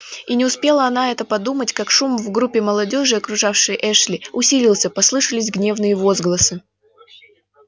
и не успела она это подумать как шум в группе молодёжи окружавшей эшли усилился послышались гневные возгласы